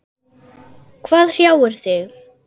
Hvað hrjáir þig?